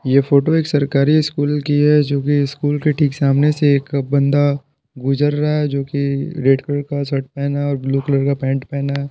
ये फोटो एक सरकारी स्कूल की है जो कि स्कूल के ठीक सामने से एक बंदा गुजर रहा है जो कि रेड कलर का शर्ट पेहना है और ब्लू कलर का पेंट पेहना है।